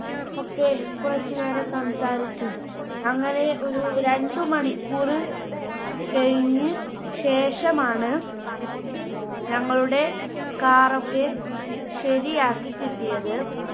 ഒക്കെ കുറച്ചുനേരം സംസാരിച്ചു. അങ്ങനെ ഒരു രണ്ട് മണിക്കൂറ് കഴിഞ്ഞ ശേഷമാണ് ഞങ്ങളുടെ Car ഒക്കെ ശരിയാക്കി കിട്ടിയത്.